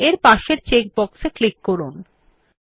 this option makes it easier to collect large outputs